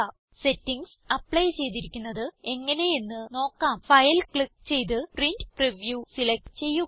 settings apply ചെയ്തിരിക്കുന്നത് എങ്ങനെ എന്ന് നോക്കാം ഫൈൽ ക്ലിക്ക് ചെയ്ത് പ്രിന്റ് പ്രിവ്യൂ സിലക്റ്റ് ചെയ്യുക